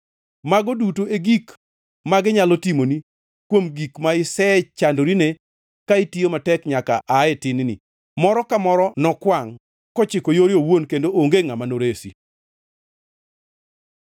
Mago duto e gik magi nyalo timoni kuom gik ma isechandorine ka itiyo matek nyaka aa tin-ni. Moro ka moro nokwangʼ, kochiko yore owuon kendo onge ngʼama noresi.”